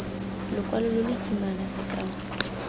lokwalo lo lo kimana sekao